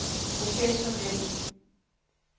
professionel